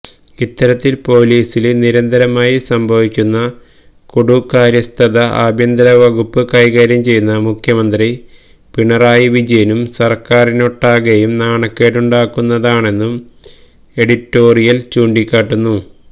ഇത്തരത്തില് പൊലീസില് നിരന്തരമായി സംഭവിക്കുന്ന കെടുകാര്യസ്ഥത ആഭ്യന്തരവകുപ്പ് കൈകാര്യം ചെയ്യുന്ന മുഖ്യമന്ത്രി പിണറായിവിജയനും സര്ക്കാരിനൊട്ടാകെയും നാണക്കേടുണ്ടാക്കുന്നതാണെന്നും എഡിറ്റോറിയല് ചൂണ്ടിക്കാട്ടുന്നു